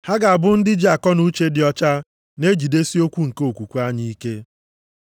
Ha ga-abụ ndị ji akọnuche dị ọcha na-ejidesi eziokwu nke okwukwe anyị ike.